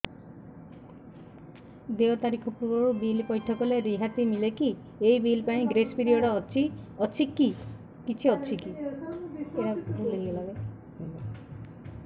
ଦେୟ ତାରିଖ ପୂର୍ବରୁ ବିଲ୍ ପୈଠ କଲେ ରିହାତି ମିଲେକି ଏହି ବିଲ୍ ପାଇଁ ଗ୍ରେସ୍ ପିରିୟଡ଼ କିଛି ଅଛିକି